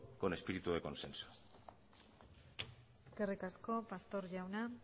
con espíritu de consenso eskerrik asko pastor jauna